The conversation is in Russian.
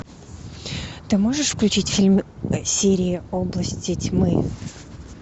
ты можешь включить фильм серии области тьмы